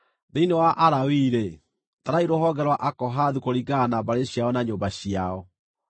“Thĩinĩ wa Alawii-rĩ, tarai rũhonge rwa Akohathu kũringana na mbarĩ ciao na nyũmba ciao.